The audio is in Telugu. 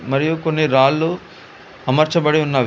మరియు కొన్ని రాళ్లు అమర్చబడి ఉన్న--